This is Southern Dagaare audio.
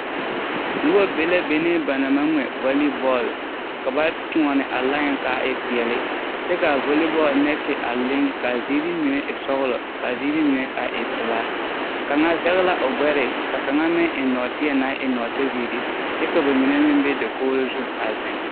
Noba be la benee ba naŋ maŋ ŋmɛ vali bɔɔl. Ka ba toɔne a line kaa e peɛle kyɛ kaa voli bɔɔl nɛɛte a leŋ kaa ziiri mine e sɔglɔ kaa ziiri mine a e pelaa. Kaŋa zɛge la o gbɛre ka kaŋa meŋ eŋ nɔɔteɛ naŋ e nɔɔtezeere kyɛ ka ba mine meŋ be dakogro zu a zeŋ.